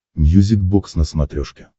мьюзик бокс на смотрешке